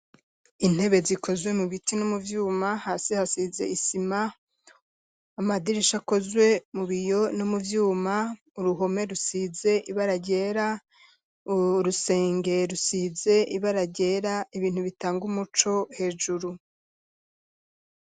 Intebe zikozwe, mu biti, no mu vyuma, hasi hasize isima; amadirisha akozwe, mu biyo no mu vyuma; uruhome rusize ibara ryera, urusenge rusize ibara ryera, ibintu bitanga umuco, hejuru.